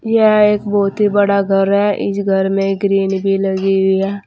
यह एक बहुत ही बड़ा घर है इस घर में ग्रिल भी लगी हुई है।